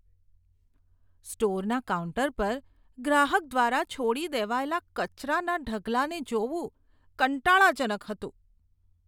સ્ટોરના counter પર ગ્રાહક દ્વારા છોડી દેવાયેલા કચરાના ઢગલાને જોવું કંટાળાજનક હતું.